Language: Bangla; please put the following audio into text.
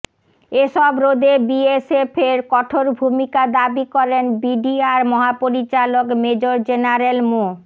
এসব রোধে বিএসএফ এর কঠোর ভূমিকা দাবি করেন বিডিআর মহাপরিচালক মেজর জেনারেল মো